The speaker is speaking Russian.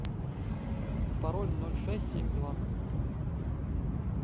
пароль ноль шесть семь два